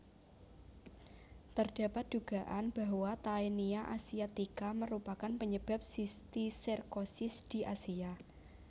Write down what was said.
Terdapat dugaan bahwa Taenia asiatica merupakan penyebab sistiserkosis di Asia